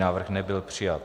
Návrh nebyl přijat.